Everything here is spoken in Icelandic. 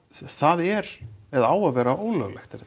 það er eða á að vera ólöglegt er